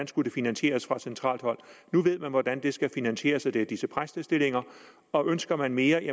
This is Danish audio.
skulle finansieres fra centralt hold nu ved man hvordan det skal finansieres og det er disse præstestillinger og ønsker man mere